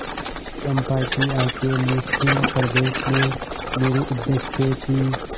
चंपा की आँखें निस्सीम प्रदेश में निरुद्देश्य थीं